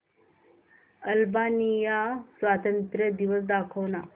Albania स्वातंत्र्य दिवस दाखव ना